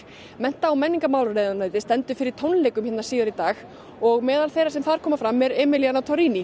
mennta og menningarráðuneytið stendur fyrir tónleikum síðar í dag og meðal þeirra sem þar koma fram er emiliana